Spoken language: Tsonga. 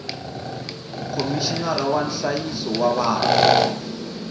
khomixinara wa nhlayiso wa vana